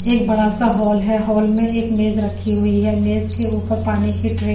L बड़ा सा hall है हॉल में एक मेज राखी हुई है मेज के उपर पानी की त्रि --